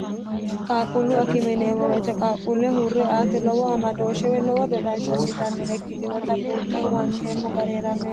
qaaqquullu akimineemo woyite qaaqquulle huurre aati lowo amadooshshewi lowo dodansho assitannore ikkitinota buunxehu wanteemmo ga'reerannohe